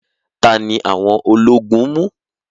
Tani awon ológun mu?